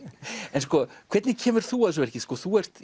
en sko hvernig kemur þú að þessu verki þú ert